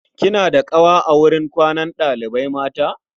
kina da ƙawa a wurin kwanan ɗalibai mata?